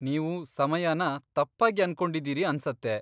ನೀವು ಸಮಯನ ತಪ್ಪಾಗಿ ಅನ್ಕೊಂಡಿದ್ದೀರಿ ಅನ್ಸತ್ತೆ.